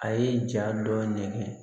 A ye ja dɔ nɛgɛn